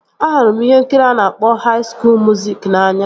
Ahụrụ m ihe nkiri a na-akpọ haị skuul muziki n'anya